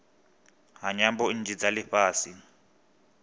ha nyambo nnzhi dza lifhasi